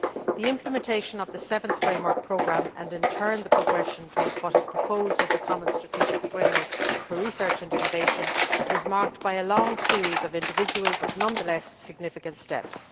The implementation of the Seventh Framework Programme and, in turn, the progression towards what is proposed as a common strategic framework for research and innovation, is marked by a long series of individual, but nonetheless significant, steps.